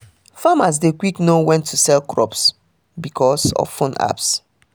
farmers dey quick know when to sell crops because of phone apps